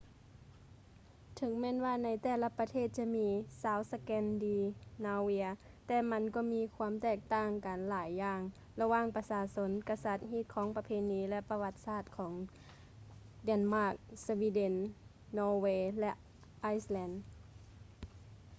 ເຖິງແມ່ນວ່າໃນແຕ່ລະປະເທດຈະມີ ຊາວສະແກນດີນາວຽນ” ແຕ່ມັນກໍມີຄວາມແຕກຕ່າງກັນຫຼາຍຢ່າງລະຫວ່າງປະຊາຊົນ ກະສັດ ຮີດຄອງປະເພນີ ແລະ ປະຫວັດສາດຂອງເເດນມາກ ສະວີເດັນ ນໍເວ ແລະ ໄອສແລນ